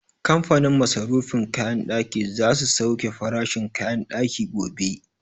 Kamfanin masarufin kayan ɗaki za su sauke farashin kayan ɗaki gobe